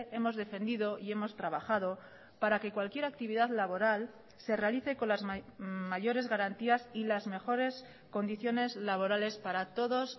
hemos defendido y hemos trabajado para que cualquier actividad laboral se realice con las mayores garantías y las mejores condiciones laborales para todos